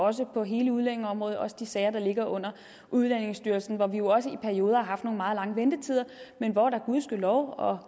også på hele udlændingeområdet også de sager der ligger under udlændingestyrelsen hvor vi jo også i perioder har haft nogle meget lange ventetider men hvor de gudskelov og